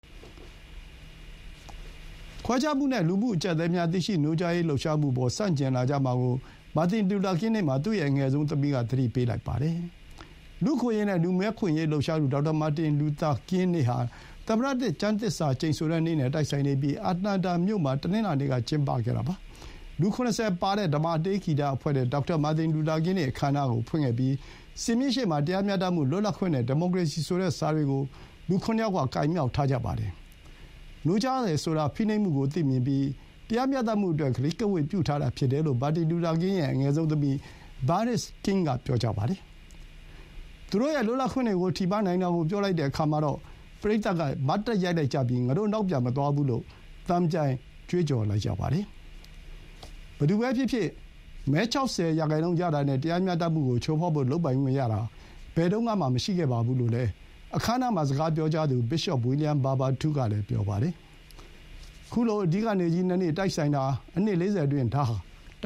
ခွဲခြားမှုနဲ့ လူမှု အကျပ်အတည်းများ သိရှိနိုးကြားရေး လှုပ်ရှားမှုအပေါ် ဆန့်ကျင်လာကြမှာကို မာတင်လူသာကင်းနေ့မှာ သူ့ရဲ့ အငယ်ဆုံးသမီးက သတိပေးလိုက်ပါတယ်။ လူ့အခွင့်အရေးနဲ့ လူမည်းများ လွတ်မြောက်ရေးလှုပ်ရှားသူ ဒေါက်တာ မာတင်လူသာကင်း နေ့ဟာ သမ္မတသစ် ကျမ်းသစ္စာကျိန်ဆိုတဲ့နေ့နဲ့ တိုက်ဆိုင်နေပြီး၊ အတ္တလန်တာမြို့မှာ တနင်္လာနေ့က ကျင်းပခဲ့တာပါ။ လူ ၇၀ ပါတဲ့ ဓမ္မတေးဂီတအဖွဲ့နဲ့ ဒေါက်တာ မာတင်လူသာကင်းနေ့ အခမ်းအနားကို ဖွင့်ခဲ့ပြီး၊ စင်မြင့်ရှေ့မှာ တရားမျှတမှု၊ လွတ်လပ်ခွင့်နဲ့ ဒီမိုကရေစီဆိုတဲ့ စာတွေကို လူ ခုနစ်ယောက်က ကိုင်မြှောက်ထားကြပါတယ်။ နိုးကြားတယ်ဆိုတာ ဖိနှိပ်မှုကို သိမြင်ပြီး တရားမျှတမှုအတွက် ကတိကဝတ်ပြုထားတာ ဖြစ်တယ်လို့ မာတင်လူသာကင်း ရဲ့ အငယ်ဆုံးသမီး Bernice King က ပြောပါတယ်။ သူတို့ရဲ့ လွတ်လပ်ခွင့်တွေကို ထိပါးနိုင်တာကို ပြောလိုက်တဲ့ အခါမှာတော့ ပရိသတ်က မတ်တပ် ရပ်လိုက်ကြပြီး၊ ငါတို့ နောက်ပြန်မသွားဘူးလို့ သံပြိုင် ကြွေးကြော်လိုက်ကြပါတယ်။ ဘယ်သူပဲဖြစ်ဖြစ်၊ မဲ ၆၀ ရာနှုန်းရတာနဲ့ တရားမျှတမှုကို ချိုးဖောက်ဖို့ လုပ်ပိုင်ခွင့်ရတာ ဘယ်တုန်းကမှ မဟုတ်ပါဘူးလို့လည်း အခမ်းအနားမှာ စကားပြောကြားသူ Bishop William Barber II ကလည်း ပြောပါတယ်။ ခုလို သမ္မတ ကျမ်းသစ္စာကျိန်းဆိုပွဲ နဲ့ မာတင်လူသာကင်းနေ့ တိုက်ဆိုင်တာ အနှစ် ၄၀ အတွင်း ဒါဟာ တ